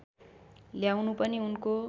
ल्याउनु पनि उनको